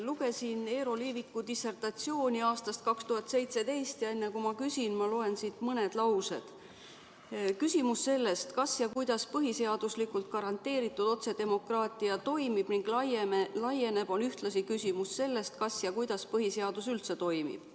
Lugesin Eero Liiviku dissertatsiooni aastast 2017 ja enne, kui ma küsin, ma loen siit mõned laused: "Küsimus sellest, kas ja kuidas põhiseaduslikult garanteeritud otsedemokraatia toimib ning laieneb, on ühtlasi küsimus sellest, kas ja kuidas põhiseadus üldse toimib.